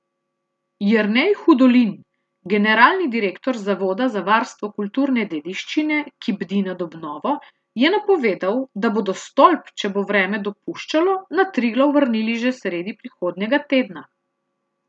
Jernej Hudolin, generalni direktor Zavoda za varstvo kulturne dediščine, ki bdi nad obnovo, je napovedal, da bodo stolp, če bo vreme dopuščalo, na Triglav vrnili že sredi prihodnjega tedna.